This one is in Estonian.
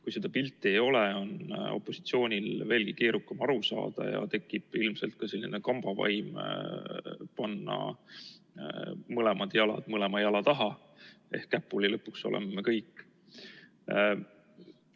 Kui seda pilti ei ole, on opositsioonil veelgi keerukam aru saada ja tekib ilmselt ka selline kambavaim panna mõlemad jalad mõlema jala taha ehk lõpuks oleme kõik käpuli.